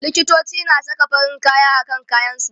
likitoci na Saka farin kaya akan kayan su